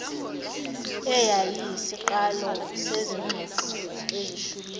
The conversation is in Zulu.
eyayiyisiqalo sezingxoxo ezishubile